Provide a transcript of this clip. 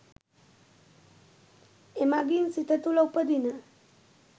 එමඟින් සිත තුළ උපදින